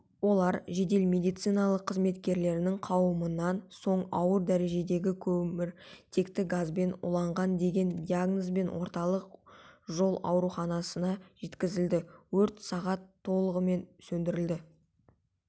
олар жедел медициналық қызметкерлерінің қарауынан соң ауыр дәрежедегі көміртекті газбен уланған деген диагнозбен орталық жол ауруханасына жеткізілді өрт сағат толығымен сөндірілді